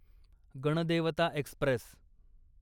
Ganadevata Express